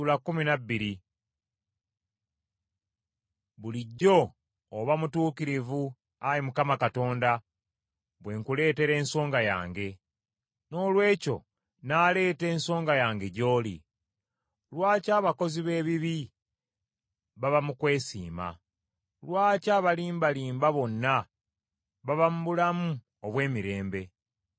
Bulijjo oba mutuukirivu, Ayi Mukama Katonda, bwe nkuleetera ensonga yange. Noolwekyo nnaaleeta ensonga yange gy’oli. Lwaki abakozi b’ebibi baba mu kwesiima? Lwaki abalimbalimba bonna baba mu bulamu obw’emirembe?